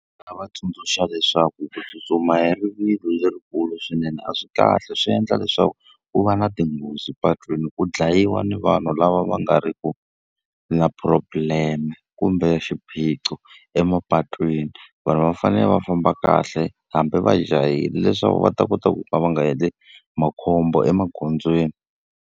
Ndzi nga va tsundzuxa leswaku ku tsutsuma hi rivilo lerikulu swinene a swi kahle swi endla leswaku ku va na tinghozi patwini, ku dlayiwa ni vanhu lava va nga ri ku na problem-e kumbe xiphiqo emapatwini. Vanhu va fanele va famba kahle hambi va jahile, leswaku va ta kota ku ka va nga endli makhombo emagondzweni.